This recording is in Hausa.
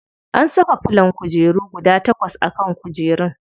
An saka filon kujeru guda takwas a kan kujerun.